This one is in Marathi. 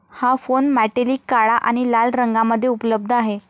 हा फोन मॅटेलिक काळा आणि लाल रंगामध्ये उपलब्ध आहे.